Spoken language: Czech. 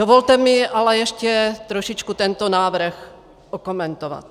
Dovolte mi ale ještě trošičku tento návrh okomentovat.